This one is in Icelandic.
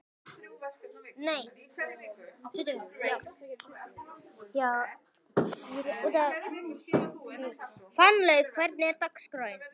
Fannlaug, hvernig er dagskráin?